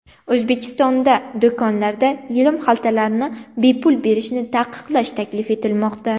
O‘zbekistonda do‘konlarda yelim xaltalarni bepul berishni taqiqlash taklif etilmoqda.